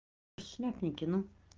шляпники ну